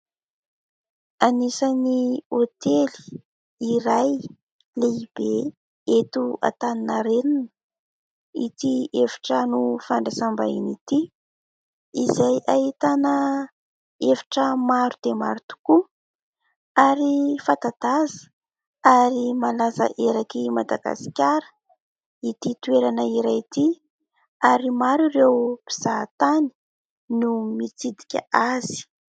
Anisany hôtely iray lehibe eto Antaninarenina ity efitrano fandraisam-bahiny ity: izay ahitana efitra maro dia maro tokoa ary fanta-daza ary malaza heraky Madagasikara ity toerana iray ity ary maro ireo mpizahan-tany no mitsidika azy.